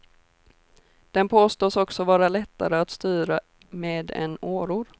Den påstås också vara lättare att styra med än åror.